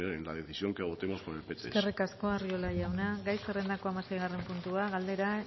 en la decisión que adoptemos por el pts eskerrik asko arriola jauna gai zerrendako hamaseigarren puntua galdera